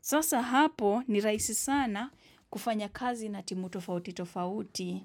Sasa hapo ni rahisi sana kufanya kazi na timu tofauti tofauti.